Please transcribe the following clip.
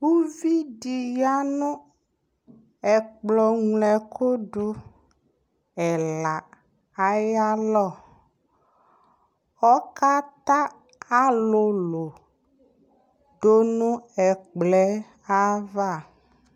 Uvi dɩ ya nʋ ɛkplɔŋloɛkʋdʋ ɛla ayalɔ Ɔkata alʋlʋ dʋ nʋ ɛkplɔ yɛ ava